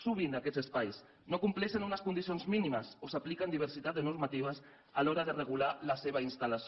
sovint aquests espais no compleixen unes condicions mínimes o s’apliquen diversitat de normatives a l’hora de regular la seva installació